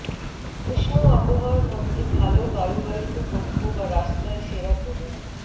উষ্ণ আবহাওয়ার মধ্যে ভাল বায়ুবাহিত কক্ষ বা রাস্তায় সেরা করুন